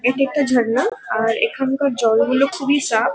এটা একটি ঝর্ণা আর এখানকার জলগুলো খুবই সাফ।